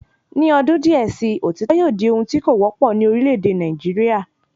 Ni odun díè sii, òtítọ́ yóò di ohun tí kò wọ́pọ̀ ní orílẹ̀ èdè Nàìjíríà